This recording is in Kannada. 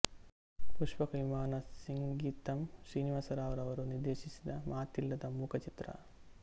ಪುಷ್ಪಕ ವಿಮಾನ ಸಿಂಗೀತಂ ಶ್ರೀನಿವಾಸರಾವ್ ರವರು ನಿರ್ದೇಶಿಸಿದ ಮಾತಿಲ್ಲದ ಮೂಕ ಚಿತ್ರ